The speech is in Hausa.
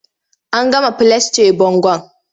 An gama filasce bangon.